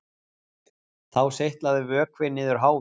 Þá seytlaði vökvi niður háfinn